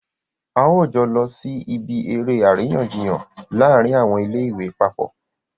a ó jọ lọ sí ibi eré àríyànjiyàn láàrin àwọn ilé ìwé papọ̀